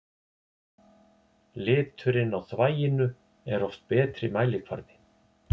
Liturinn á þvaginu er oft betri mælikvarði.